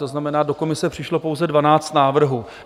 To znamená, do komise přišlo pouze 12 návrhů.